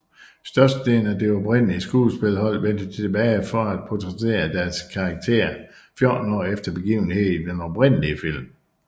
Størstedelen af det oprindelige skuespillerhold vendte tilbage for at portrættere deres karakterer 14 år efter begivenhederne i den oprindelige film